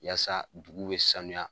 Yasa dugu be sanuya